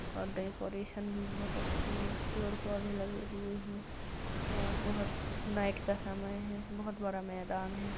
और डेकोरेशन भी बहुत अच्छी है पेड़ पौधे लगे हुए हैं और बोहोत नाईट का समय है बोहोत बड़ा मैदान है |